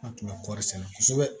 An tun bɛ kɔrɔri sɛnɛ kosɛbɛ